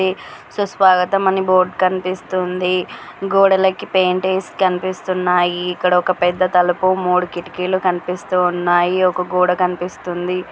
సుస్వాగతం అని బోర్డ్ కనిపిస్తోంది గోడలకు పెయింట్ వేసి కనిపిస్తున్నాయి ఇక్కడ ఒక పెద్ద తలుపు మూడు కిటికీలు కనిపిస్తున్నాయి ఒక గోడ కనిపిస్తోంది.